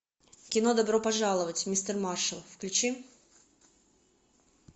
кино добро пожаловать мистер маршал включи